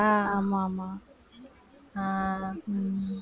ஆமா ஆமா ஆஹ் உம்